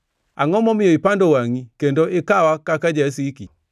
Angʼo momiyo ipando wangʼi kendo ikawa kaka jasiki?